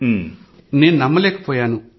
ముందైతే నేను నమ్మలేకపోయాను